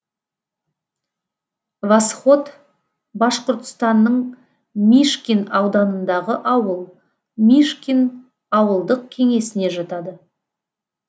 восход башқұртстанның мишкин ауданындағы ауыл мишкин ауылдық кеңесіне жатады